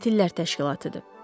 Qatillər təşkilatıdır.